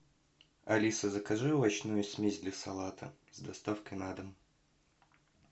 алиса закажи овощную смесь для салата с доставкой на дом